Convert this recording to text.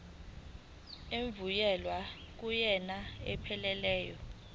evunyelwe kunyaka ophelele